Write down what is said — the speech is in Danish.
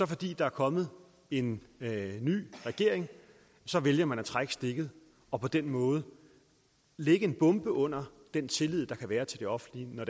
fordi der er kommet en ny regering vælger man at trække stikket og på den måde lægge en bombe under den tillid der kan være til det offentlige når